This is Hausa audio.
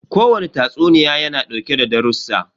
Ko wane tatsuniya ya na dauke da darussan.